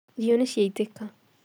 Irio nĩ ciaitĩka